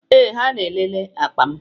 Ee, ha na-elele akpa m.